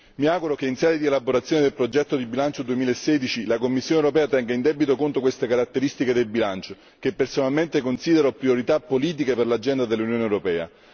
Mi auguro che in sede di elaborazione del progetto di bilancio 2016, la Commissione europea tenga in debito conto queste caratteristiche del bilancio, che personalmente considero priorità politiche per l'agenda dell'Unione europea.